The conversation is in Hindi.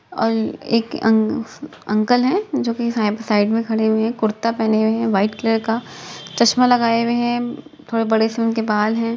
और एक अंक अंकल हैं जो कि साइब साइड में खड़े हुए हैं। कुर्ता पहने हुए हैं वाइट कलर का। चश्मा लगाये हुए हैं। थोड़े बड़े से उनके बाल हैं।